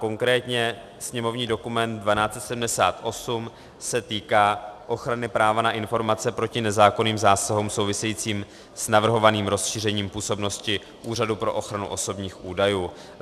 Konkrétně sněmovní dokument 1278 se týká ochrany práva na informace proti nezákonným zásahům souvisejícím s navrhovaným rozšířením působnosti Úřadu pro ochranu osobních údajů.